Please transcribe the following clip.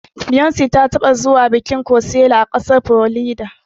Beyonce ta taɓa zuwa bikin kocella a ƙasar Florida.